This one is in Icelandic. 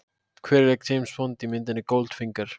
Hver lék James Bond í myndinni Goldfinger?